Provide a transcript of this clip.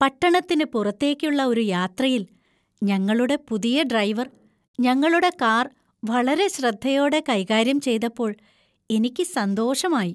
പട്ടണത്തിന് പുറത്തേക്കുള്ള ഒരു യാത്രയിൽ ഞങ്ങളുടെ പുതിയ ഡ്രൈവർ ഞങ്ങളുടെ കാർ വളരെ ശ്രദ്ധയോടെ കൈകാര്യം ചെയ്തപ്പോൾ എനിക്ക് സന്തോഷമായി.